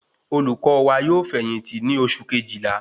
Olùkó wa yóò fẹ̀yìntì ní oṣù Kejìlá